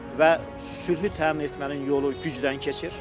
Və sülhü təmin etmənin yolu gücdən keçir.